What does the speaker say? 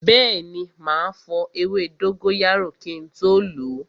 Bẹẹni, ma fọ ewé dóngóyárò kin tó lo